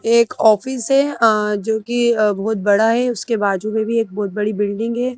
एक ऑफिस है अ जो कि बहुत बड़ा है उसके बाजू में भी एक बहुत बड़ी बिल्डिंग है।